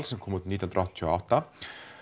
sem kom út nítján hundruð áttatíu og átta